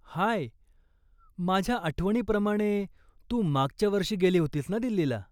हाय, माझ्या आठवणीप्रमाणे, तू मागच्या वर्षी गेली होतीस ना दिल्लीला?